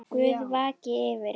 Guð vaki yfir ykkur.